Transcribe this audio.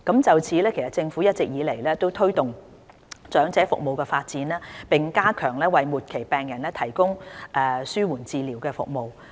就此，政府一直致力推動長者服務的發展，並加強為末期病人提供的紓緩治療服務。